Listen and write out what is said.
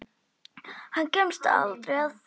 Hann kemst aldrei að því.